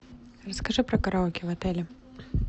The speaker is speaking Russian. расскажи про караоке в отеле